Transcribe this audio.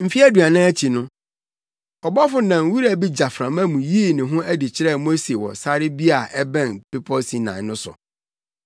“Mfe aduanan akyi no, ɔbɔfo nam wura bi gyaframa mu yii ne ho adi kyerɛɛ Mose wɔ sare bi a ɛbɛn bepɔw Sinai no so.